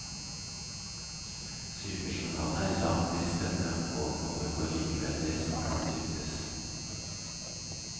Sykejournalene er langt mer spennende og overgår likevel det som kan diktes.